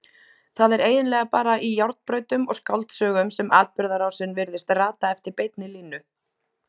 Það er eiginlega bara í járnbrautum og skáldsögum sem atburðarásin virðist rata eftir beinni línu.